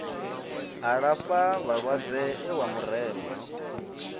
alafha vhalwadze e wa murema